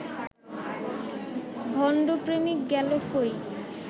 ভণ্ড প্রেমিক গেলো কই